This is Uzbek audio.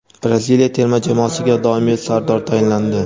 Braziliya terma jamoasiga doimiy sardor tayinlandi.